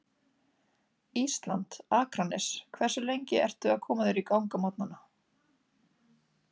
Ísland, Akranes Hversu lengi ertu að koma þér í gang á morgnanna?